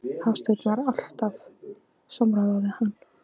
Hafsteinn: Var haft samráð við hann?